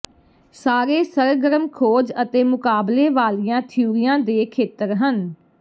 ਸਾਰੇ ਸਰਗਰਮ ਖੋਜ ਅਤੇ ਮੁਕਾਬਲੇ ਵਾਲੀਆਂ ਥਿਊਰੀਆਂ ਦੇ ਖੇਤਰ ਹਨ